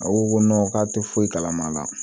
A ko ko k'a tɛ foyi kalama la